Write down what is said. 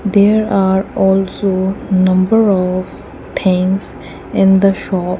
there are also number of things in the shop.